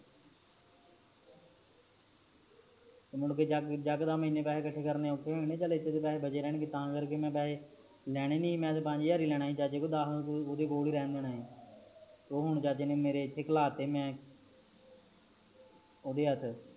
ਮੁੜਕੇ ਇੱਕਦਮ ਏਨੇ ਪੈਸੇ ਕੱਠੇ ਕਰਨੇ ਔਖੇ ਹੋ ਜਣੇ ਚਲ ਇਥੇ ਤਾ ਪੈਸੇ ਬਚੇ ਰਹਿਣਗੇ ਤਾ ਕਰਕੇ ਮੈ ਪੈਸੇ ਲੈਣੇ ਨਹੀਂ ਮੈ ਤਾ ਪੰਜ ਹਜਾਰ ਹੀ ਲੈਣੇ ਸੀ ਚਾਚੇ ਕੋਲ ਦਾਸ ਓਂਦੇ ਕੋਲ ਹੀ ਰਹਿਣ ਦੇਣਾ ਆ ਓ ਹਨ ਚਾਚੇ ਨੇ ਮੇਰੇ ਇਥੇ ਖੁਲਾਤੇ ਮੈ ਔਂਦੇ ਹੱਥ